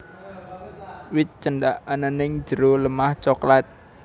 Wit Cendak ana ing jero lemah coklat